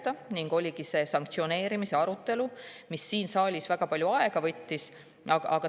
arutelu sanktsioonide üle, mis siin saalis väga palju aega võttis.